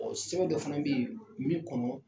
Sɛbɛn dɔ fana bɛ yen min kɔnɔ